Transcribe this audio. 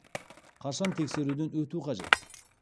қашан тексеруден өту қажет